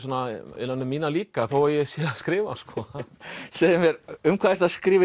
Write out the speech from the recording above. innan um mína líka þó ég sé að skrifa segðu mér um hvað ertu að skrifa